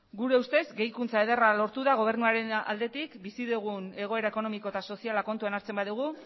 gure ustez gehikuntza ederra lortu da gobernuaren aldetik bizi dugun egoera ekonomikoa eta soziala kontutan hartzen badugu